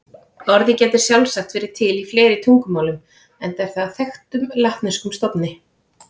Orðið gæti sjálfsagt verið til í fleiri tungumálum enda er það af þekktum latneskum stofni.